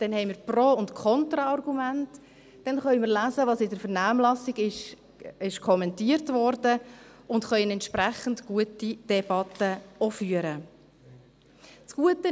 dann werden wir Pro- und Contra-Argumente haben, dann werden wir lesen können, was in der Vernehmlassung kommentiert wurde, und werden dann auch eine entsprechend gute Debatte führen können.